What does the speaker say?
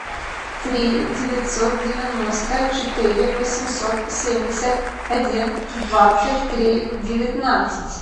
три девятьсот девяносто четыре восемьсот семьдесят один двадцать три девятнадцать